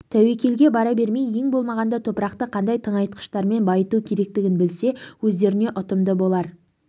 тәуекелге бара бермей ең болмағанда топырақты қандай тыңайтқыштармен байыту керек екендігін білсе өздеріне ұтымды болар